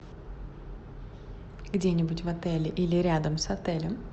где нибудь в отеле или рядом с отелем